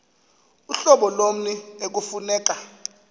uhlobo lommi ekufuneka